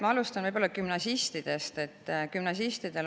Ma alustan gümnasistidest.